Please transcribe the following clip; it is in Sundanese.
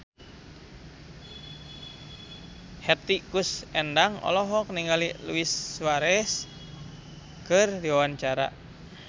Hetty Koes Endang olohok ningali Luis Suarez keur diwawancara